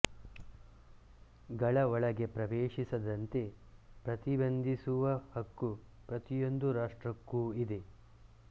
ಗಳ ಒಳಗೆ ಪ್ರವೇಶಿಸದಂತೆ ಪ್ರತಿಬಂಧಿಸುವ ಹಕ್ಕು ಪ್ರತಿಯೊಂದು ರಾಷ್ಟ್ರಕ್ಕೂ ಇದೆ